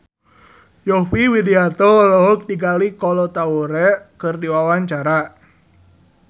Yovie Widianto olohok ningali Kolo Taure keur diwawancara